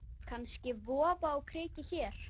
Kannski vofa á kreiki hér.